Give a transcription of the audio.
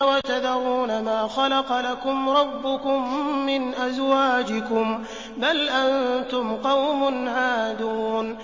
وَتَذَرُونَ مَا خَلَقَ لَكُمْ رَبُّكُم مِّنْ أَزْوَاجِكُم ۚ بَلْ أَنتُمْ قَوْمٌ عَادُونَ